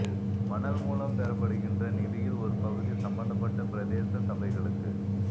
மணல் மூலம் பெறப்படுகின்ற நிதியில் ஒரு பகுதி சம்பந்தப்பட்ட பிரதேச சபைகளுக்கு